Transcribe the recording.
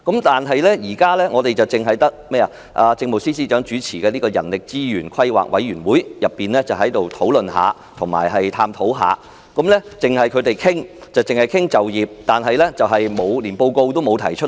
但是，政府現時只有由政務司司長主持的人力資源規劃委員會稍作討論和探討，而且該委員會只是商討就業方面，連報告也不曾提交。